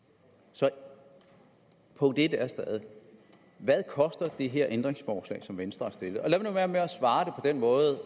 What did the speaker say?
så punkt en er stadig hvad koster det her ændringsforslag som venstre har stillet og lad nu være med at svare på den måde